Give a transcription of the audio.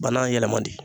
Bana yɛlɛma de